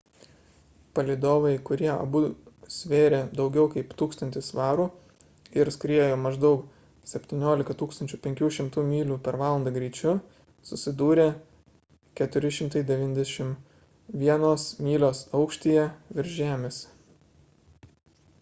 palydovai kurie abu svėrė daugiau kaip 1 000 svarų ir skriejo maždaug 17 500 myl / val greičiu susidūrė 491 mylios aukštyje virš žemės